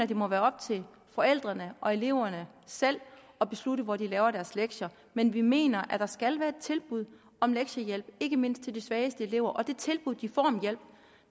det må være op til forældrene og eleverne selv at beslutte hvor de laver deres lektier men vi mener at der skal være et tilbud om lektiehjælp ikke mindst til de svageste elever og det tilbud de får om hjælp